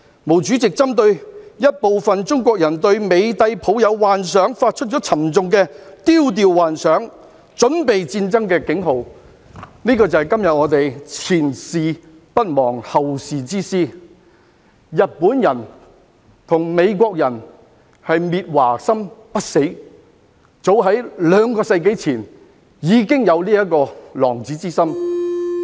毛主席針對一部分中國人對美帝抱有幻想而發出沉重的"丟掉幻想，準備戰爭"的警號，這便是我們今天"前事不忘，後事之師"，日本人和美國人的滅華心不死，早於兩個世紀前已經有此狼子之心。